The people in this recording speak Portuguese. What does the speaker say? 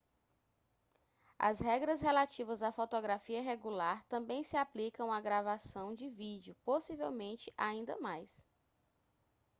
as regras relativas à fotografia regular também se aplicam à gravação de vídeo possivelmente ainda mais